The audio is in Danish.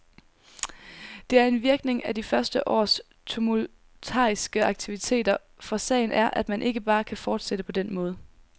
Det er en virkning af de første års tumultariske aktiviteter, for sagen er, at man ikke bare kan fortsætte på den måde.